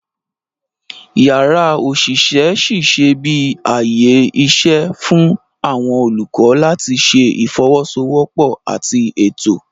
Yàrá oṣiṣẹ ṣiṣẹ bi ààyè iṣẹ fún awọn olukọ làti ṣe ifowosowopo àti Ètò